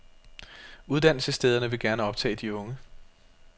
Uddannelsesstederne vil gerne optage de unge.